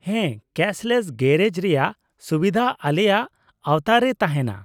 -ᱦᱮᱸ ᱠᱮᱥᱞᱮᱥ ᱜᱮᱨᱮᱡ ᱨᱮᱭᱟᱜ ᱥᱩᱵᱤᱫᱷᱟ ᱟᱞᱮᱭᱟᱜ ᱟᱣᱛᱟ ᱨᱮ ᱛᱟᱦᱮᱸᱱᱟ ᱾